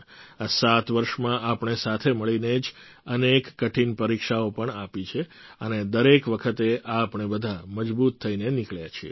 આ સાત વર્ષમાં આપણે સાથે મળીને જ અનેક કઠિન પરીક્ષાઓ પણ આપી છે અને દરેક વખતે આપણે બધા મજબૂત થઈને નીકળ્યા છીએ